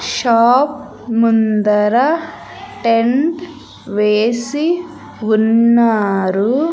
Shop ముందర tent వేసి ఉన్నారు.